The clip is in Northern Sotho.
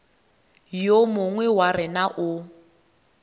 yo mongwe wa rena o